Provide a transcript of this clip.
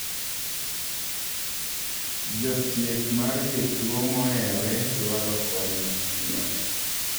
Jothieth mar jotuo moheore dwaro kony mapiyo.